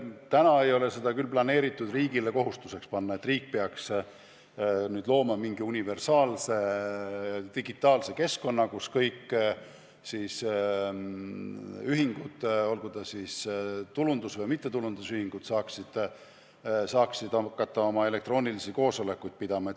Täna ei ole seda küll plaanis riigile kohustuseks panna, et riik peab nüüd looma mingi universaalse digitaalse keskkonna, kus kõik ühingud, olgu tulundus- või mittetulundusühingud, saaksid hakata oma elektroonilisi koosolekuid pidama.